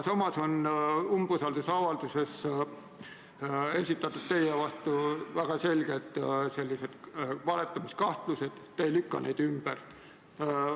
Aga umbusaldusavalduses on esitatud väga selged valetamiskahtlused, te ei lükka neid ümber.